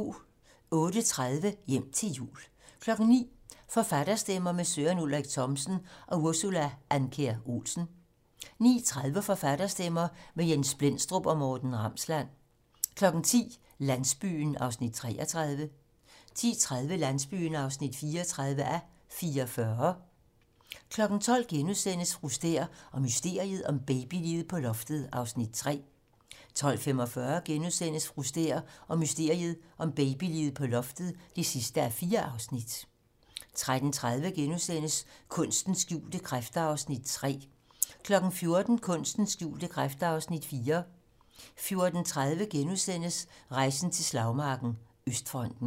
08:30: Hjem til jul 09:00: Forfatterstemmer - med Søren Ulrik Thomsen og Ursula Andkjær Olsen 09:30: Forfatterstemmer - med Jens Blendstrup og Morten Ramsland 10:00: Landsbyen (33:44) 10:30: Landsbyen (34:44) 12:00: Fru Stæhr og mysteriet om babyliget på loftet (3:4)* 12:45: Fru Stæhr og mysteriet om babyliget på loftet (4:4)* 13:30: Kunstens skjulte kræfter (Afs. 3)* 14:00: Kunstens skjulte kræfter (Afs. 4) 14:30: Rejsen til slagmarken: Østfronten *